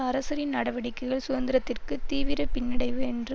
அரசரின் நடவடிக்கைகள் சுதந்திரத்திற்கு தீவிர பின்னடைவு என்று